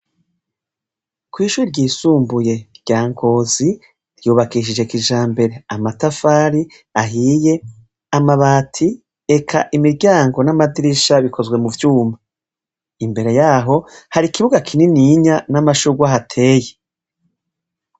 Kw'shure ryisumbuye rya Ngozi ryubakishije kijambere amatafari ahiye amabati eka imiryango n'amadirisha bikozwe mubyuma imbere yaho hari kibuga kininiya n'amashurwe ahateye.